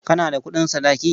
Kana da kuɗin sadaki?